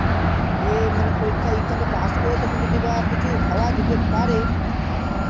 ইয়ে মানে পরীক্ষাটা এখানে কোনো কাজ করে তখন যদি বা কিছু হওয়া যেতে পারে